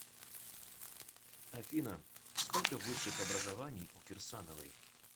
афина сколько высших образований у кирсановой